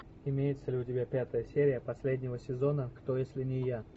имеется ли у тебя пятая серия последнего сезона кто если не я